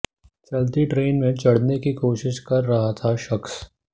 चलती ट्रेन में चढ़ने की कोशिश कर रहा था शख्स